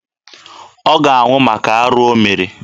Ọ ga-anwụ maka arụ o mere.